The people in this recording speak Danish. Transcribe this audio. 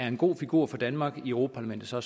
en god figur for danmark i europa parlamentet så er